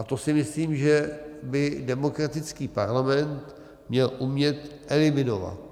A to si myslím, že by demokratický parlament měl umět eliminovat.